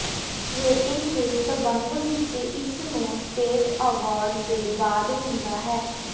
rating ਦੇ ਸੰਬੰਧ ਵਿਚ ਇਸ ਨੂੰ ਸਟੇਟ ਅਵਾਰਡ ਦੇ ਬਾਅਦ ਹੁੰਦਾ ਹੈ